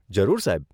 જરૂર, સાહેબ.